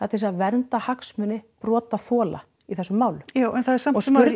til þess að vernda hagsmuni brotaþola í þessum málum já en það er samt sem áður